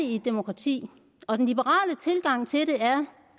i et demokrati og den liberale tilgang til det er